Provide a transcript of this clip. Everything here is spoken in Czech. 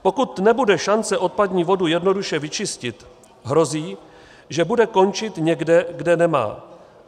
Pokud nebude šance odpadní vodu jednoduše vyčistit, hrozí, že bude končit někde, kde nemá.